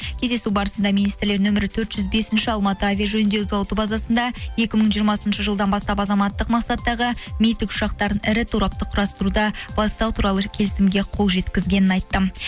кездесу барысында министрлер нөмірі төрт жүз бесінші алматы авиа жөндеу зауыты базасында екі мың жиырмасыншы жылдан бастап азаматтық мақсаттағы ми тікұшақтарын ірі торапта құрастыруда бастау туралы ірі келісімге қол жеткізгенін айтты